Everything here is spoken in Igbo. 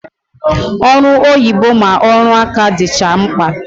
Ọrụ oyibo ma ọrụ aka dịcha mkpa